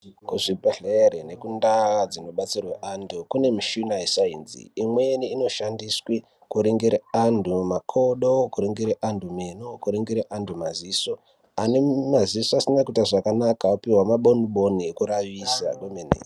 Kuzvibhedhleri nekundaa dzinobetserwe antu kune muchina yesainzi imweni inoshandiswe kuringire antu makodo kuringire antu meno kuringire antu maziso ane maziso asina kuite zvakanaka apuwe maboni boni ekuravisa kwemene.